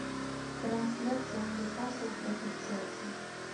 трансляция ньюкасл против челси